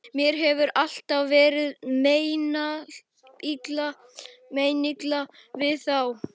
Mér hefur alltaf verið meinilla við þá.